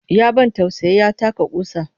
Ya ban tausayi ya taka ƙusa